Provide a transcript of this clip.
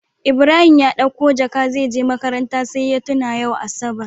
Ibrahim ya ɗauko jaka zeje makaranta sai ya tuna yau asabar